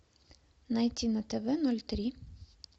найти на тв ноль три